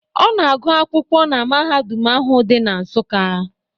Ọ na-agụ akwụkwọ na na mahadum ahụ di na Nsukka.